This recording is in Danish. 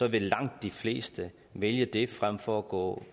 vil langt de fleste vælge det frem for at gå